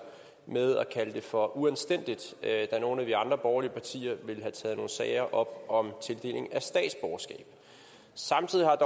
ved at kalde det for uanstændigt da nogle af de andre borgerlige partier ville have taget nogle sager op om tildeling af statsborgerskab samtidig har